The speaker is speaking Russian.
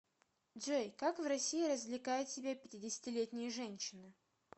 джой как в россии развлекают себя пятидесятилетние женщины